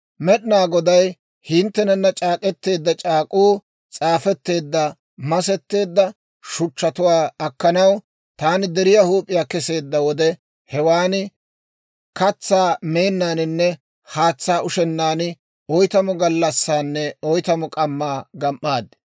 Med'inaa Goday hinttenana c'aak'k'eteedda c'aak'k'uu s'aafetteedda masetteedda shuchchatuwaa akkanaw taani deriyaa huup'iyaa keseedda wode, hewan katsaa meennaaninne haatsaa ushennaan, oytamu gallassaanne oytamu k'ammaa gam"aad.